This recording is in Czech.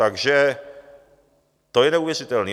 Takže to je neuvěřitelný.